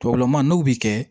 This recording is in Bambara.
Tubabu n'u bɛ kɛ